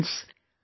Friends,